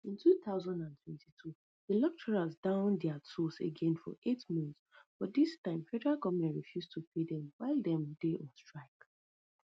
in two thousand and twenty-two di lecturers down dia tools again for eight months but dis time federal goment refuse to pay dem while dem dey on strike